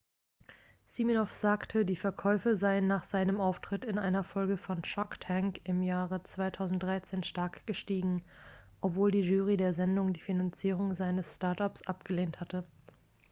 siminoff sagte die verkäufe seien nach seinem auftritt in einer folge von shark tank im jahre 2013 stark gestiegen obwohl die jury der sendung die finanzierung seines start-ups abgelehnt hatte